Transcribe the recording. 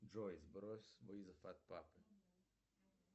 джой сбрось вызов от папы